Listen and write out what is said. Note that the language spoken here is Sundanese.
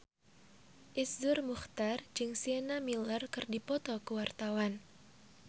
Iszur Muchtar jeung Sienna Miller keur dipoto ku wartawan